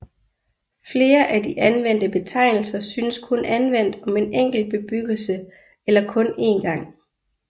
Flere af de anvendte betegnelser synes kun anvendt om en enkelt bebyggelse eller kun én gang